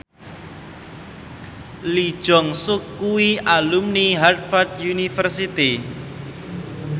Lee Jeong Suk kuwi alumni Harvard university